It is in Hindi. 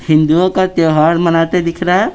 हिंदुओं का त्यौहार मनाते दिख रहा है।